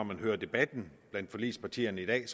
man hører debatten blandt forligspartierne i dag